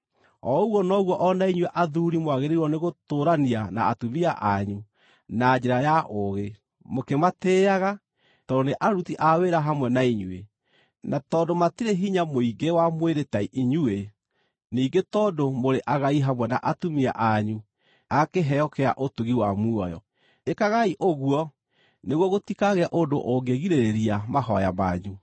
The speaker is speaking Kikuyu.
O ũguo noguo o na inyuĩ athuuri mwagĩrĩirwo nĩgũtũũrania na atumia anyu na njĩra ya ũũgĩ, mũkĩmatĩĩaga tondũ nĩ aruti a wĩra hamwe na inyuĩ, na tondũ matirĩ hinya mũingĩ wa mwĩrĩ ta inyuĩ, ningĩ tondũ mũrĩ agai hamwe na atumia anyu a kĩheo kĩa ũtugi wa muoyo. Ĩkagai ũguo nĩguo gũtikagĩe ũndũ ũngĩgirĩrĩria mahooya manyu.